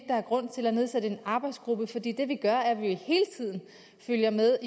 der er grund til at nedsætte en arbejdsgruppe fordi det vi gør er jo at vi hele tiden følger med